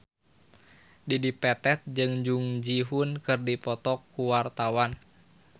Dedi Petet jeung Jung Ji Hoon keur dipoto ku wartawan